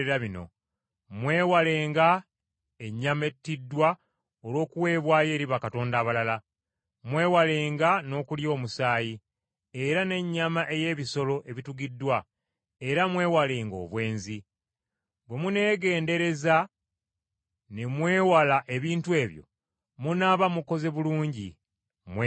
Mwewalenga ennyama ettiddwa olw’okuweebwayo eri bakatonda abalala, mwewalenga n’okulya omusaayi, era n’ennyama ey’ebisolo ebitugiddwa, era mwewalenga obwenzi. Bwe muneegendereza ne mwewala ebintu ebyo, munaaba mukoze bulungi. Mweraba.